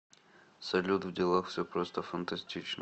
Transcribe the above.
салют в делах все просто фантастично